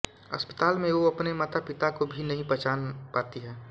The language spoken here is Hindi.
अस्पताल में वो अपने मातापिता को भी नहीं पहचान पाती है